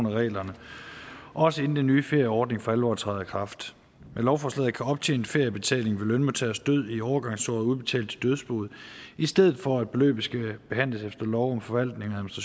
af reglerne også inden den nye ferieordning for alvor træder i kraft med lovforslaget kan optjent feriebetaling ved lønmodtagers død i overgangsåret udbetales til dødsboet i stedet for at beløbet skal behandles efter lov om forvaltning og